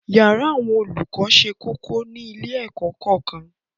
yàrá àwọn olùkọ sé kókó ní ilé-ẹ̀kọ́ kọ̀ọ̀kan